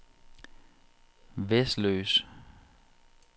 Vesløs